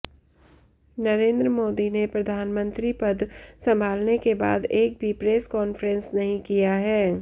नरेंद्र मोदी ने प्रधानमंत्री पद संभालने के बाद एक भी प्रेस कॉन्फ्रेंस नहीं किया है